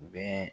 Bɛɛ